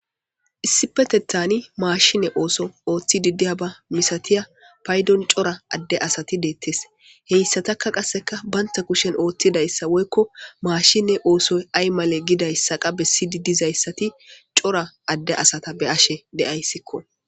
Issipeteththan mashshine ooththo othidi diyabba masatiya paydon cora adde asati detes hessataka qasse bantta kushshen oththidayssa woykko mashshine oththoy ay male gidayssa qas bessidi dizayssati cora adde asta beashe de'ayssikko.